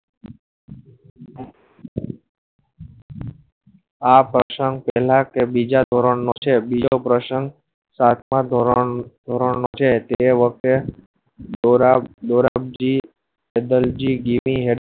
આ પ્રસંગ પેહલા કે બીજા ધોરણ નું છે બીજા પ્રસંગ સાતમાં ધોરણ નું છે તેવો એ વખતે દોર દોરાબ જી સિદ્ધો જી ગીરી હે